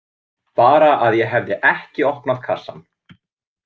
Bara að ég hefði ekki opnað kassann.